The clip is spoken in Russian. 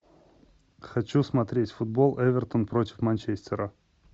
хочу смотреть футбол эвертон против манчестера